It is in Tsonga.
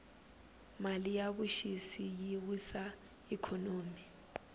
mali ya vuxisi yi wisa ikhonomi